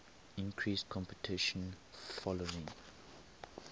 increased competition following